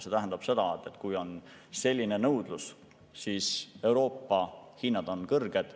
See tähendab seda, et kui on selline nõudlus, siis Euroopa hinnad on kõrged.